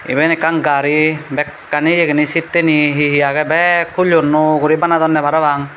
iben ekkan gari bekkani ibeni seatteni he he agey bek hullyon nuo guri banadonne parapang.